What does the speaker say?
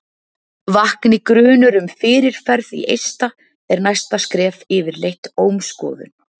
vakni grunur um fyrirferð í eista er næsta skref yfirleitt ómskoðun